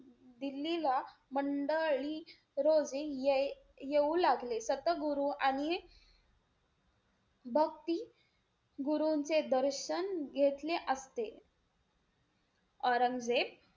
दिल्लीला मंडळी रोजी ये~ येऊ लागले. सत गुरु आणि भक्ती गुरूंचे दर्शन घेतले असते. औरंगजेब,